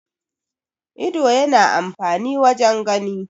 ido yana amfani wajen gani